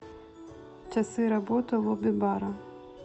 часы работы лобби бара